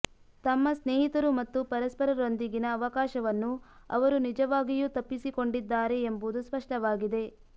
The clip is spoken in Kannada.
ತಮ್ಮ ಸ್ನೇಹಿತರು ಮತ್ತು ಪರಸ್ಪರರೊಂದಿಗಿನ ಅವಕಾಶವನ್ನು ಅವರು ನಿಜವಾಗಿಯೂ ತಪ್ಪಿಸಿಕೊಂಡಿದ್ದಾರೆ ಎಂಬುದು ಸ್ಪಷ್ಟವಾಗಿದೆ